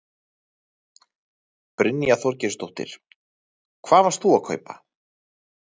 Brynja Þorgeirsdóttir: Hvað varst þú að kaupa?